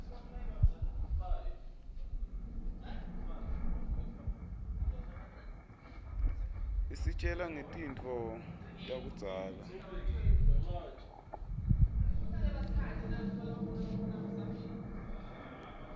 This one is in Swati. isitjela ngetintfo takudzala